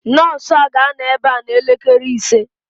Nọọsụ a ga-anọ ebe a n'elekere ise